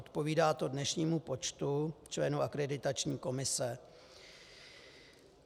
Odpovídá to dnešnímu počtu členů Akreditační komise.